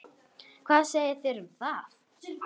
Hvað segið þér um það?